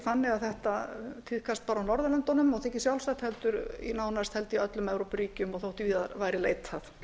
þannig að þetta tíðkist bara á norðurlöndunum og þykir sjálfsagt heldur í nánast held ég öllum evrópuríkjum og þó víðar væri leitað